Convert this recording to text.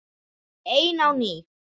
Ein á ný.